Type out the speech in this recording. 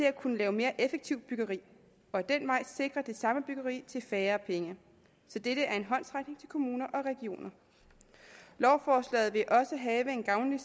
at kunne lave mere effektivt byggeri og ad den vej sikre det samme byggeri til færre penge så dette er en håndsrækning til kommuner og regioner lovforslaget vil også have en gavnlig